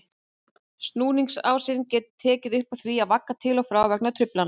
Snúningsásinn getur tekið upp á því að vagga til og frá vegna truflana.